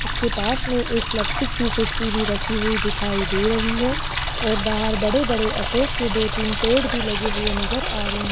उसके पास में एक प्लास्टिक की कुर्सी भी रखी हुई दिखाई दे रही है और बाहर बड़े बड़े अशोक के दो तीन पेड़ भी लगे हुए नजर आ रहे --